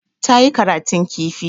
Ta yi karatun kifi.